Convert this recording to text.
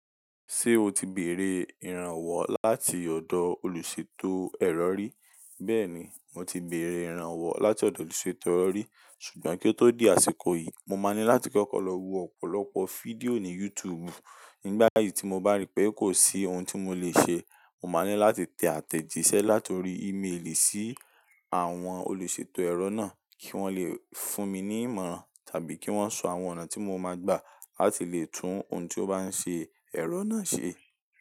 Ṣé o ti bèrè ìrànwọ́ láti ọ̀dọ̀ olùṣètò ẹ̀rọ rí? Bẹ́ẹ̀ni, mo ti bèrè ìrànwọ́ láti ọ̀dọ̀ olùṣètò ẹ̀rọ rí. Sugbọn kí ó tó di àsìkò yìí, mo máa ní láti kokoo lọ wo ọ̀pọ̀lọpọ̀ fídíò ní YouTube. Nígbà yìí tí mo bá rí pé kò sí ohun tí mo lè ṣe, mo máa ní láti tẹ àtẹ̀jísẹ́ láti orí ìmeèlì sí àwọn olùṣètò ẹ̀rọ náà kí wọ́n lè fún mi ní ìmọ̀ràn tàbí kí wọ́n sọ àwọn ọ̀nà tí mo máa gbà láti lè tún ohun tí ó bá ń ṣe ẹ̀rọ náà ṣe.